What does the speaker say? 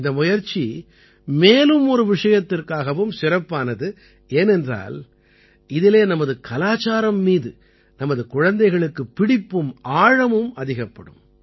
இந்த முயற்சி மேலும் ஒரு விஷயத்திற்காகவும் சிறப்பானது ஏனென்றால் இதிலே நமது கலாச்சாரம் மீது நமது குழந்தைகளுக்கு பிடிப்பும் ஆழமும் அதிகப்படும்